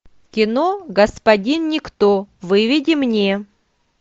кино господин никто выведи мне